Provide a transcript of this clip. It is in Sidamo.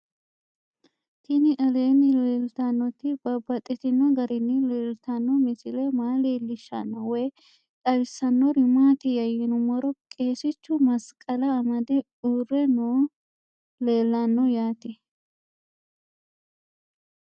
Tinni aleenni leelittannotti babaxxittinno garinni leelittanno misile maa leelishshanno woy xawisannori maattiya yinummoro qeesichu masiqala amade uure noohu leellanno yaatte